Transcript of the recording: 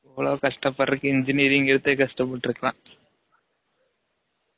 இவலோ கஷ்டம் பட்ரதுக்கு engineering எடுத்தே கஷ்ட பட்ருகலாம்